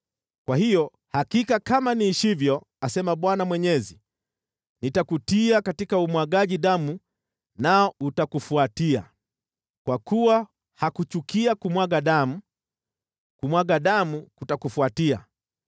kwa hiyo hakika kama niishivyo, asema Bwana Mwenyezi, nitakutia katika umwagaji damu nao utakufuatia. Kwa kuwa hakuchukia kumwaga damu, kumwaga damu kutakufuatia.